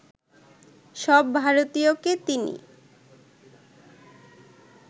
সব ভারতীয়কে তিনি